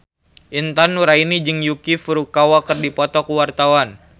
Intan Nuraini jeung Yuki Furukawa keur dipoto ku wartawan